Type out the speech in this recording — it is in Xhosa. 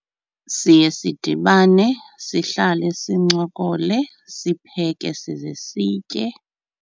Siye sidibane sihlale sincokole sipheke size sitye.